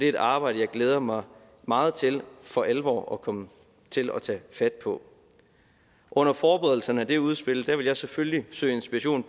et arbejde jeg glæder mig meget til for alvor at komme til at tage fat på under forberedelserne af det udspil vil jeg selvfølgelig søge inspiration